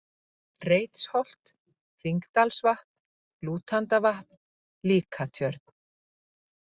Reitsholt, Þingdalsvatn, Lútandavatn, Líkatjörn